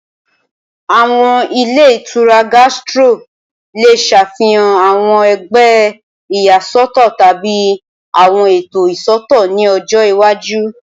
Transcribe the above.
Awọn ilé ìtura Gastro le ṣafihan awọn ẹgbẹ iyasọtọ tabi awọn eto iṣootọ ni ọjọ iwaju